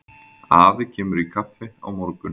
Afi kemur í kaffi á morgun.